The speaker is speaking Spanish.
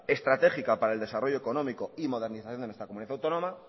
estratégica para el desarrollo económico y modernización de nuestra comunidad autónoma